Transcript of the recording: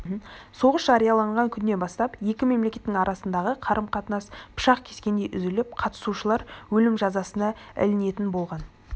соғыс жарияланған күннен бастап екі мемлекеттің арасындағы қарым-қатынас пышақ кескендей үзіліп қатынасушылар өлім жазасына ілінетін болған